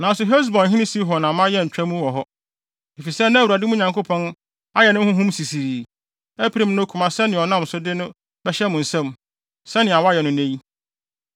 Nanso Hesbonhene Sihon amma yɛantwa mu wɔ hɔ. Efisɛ na Awurade, mo Nyankopɔn, ayɛ ne honhom sisirii, apirim ne koma sɛnea ɔnam so de no bɛhyɛ mo nsam, sɛnea wayɛ no nnɛ yi.